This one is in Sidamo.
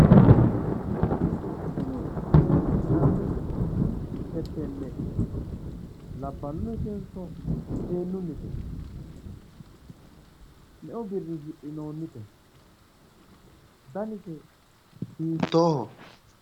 Tini seekki'nanni fettenne labballuyitenso seennunnite? Meu birii hidhinoonnite? Danise hiittooho?